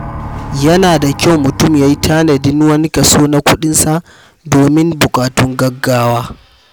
Yana da kyau mutum ya yi tanadin wani kaso na kuɗinsa domin buƙatun gaugawa.